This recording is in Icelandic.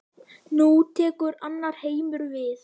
Nú tekur annar heimur við.